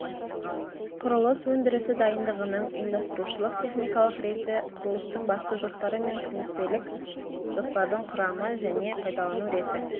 құрылыс өндірісі дайындығының ұйымдастырушылық техникалық реті құрылыстың басты жоспары мен күнтізбелік жоспардың құрамы және пайдалану реті